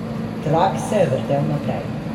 Trak se je vrtel naprej.